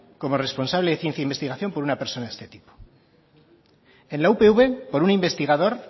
como responsable de ciencia e investigación por una persona de este tipo en la upv por un investigador